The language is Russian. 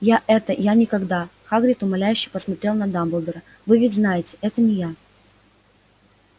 я это я никогда хагрид умоляюще посмотрел на дамблдора вы ведь знаете это не я